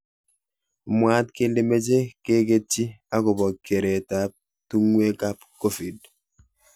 Mwaat kele meche keketchi akopo keret ap tungwek ap COVID.